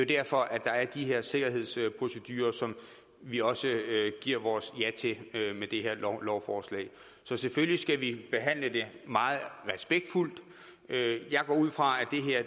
derfor at der er de her sikkerhedsprocedurer som vi også giver vores ja til med det her lovforslag så selvfølgelig skal vi behandle det meget respektfuldt jeg går ud fra at